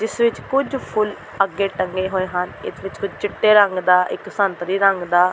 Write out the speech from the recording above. ਜਿਸ ਵਿੱਚ ਕੁਝ ਫੁੱਲ ਅੱਗੇ ਟੰਗੇ ਹੋਏ ਹਨ ਇਸ ਵਿਚ ਕੁੱਝ ਚਿੱਟੇ ਰੰਗ ਦਾ ਇੱਕ ਸੰਤਰੀ ਰੰਗ ਦਾ